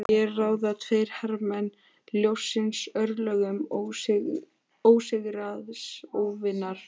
Hér ráða tveir hermenn ljóssins örlögum sigraðs óvinar.